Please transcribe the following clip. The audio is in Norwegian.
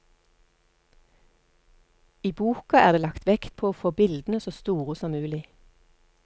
I boka er det lagt vekt på å få bildene så store som mulig.